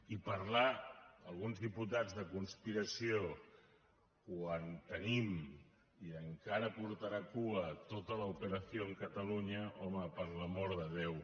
i parlar alguns diputats de conspiració quan tenim i encara portarà cua tota la operación cataluña home per l’amor de déu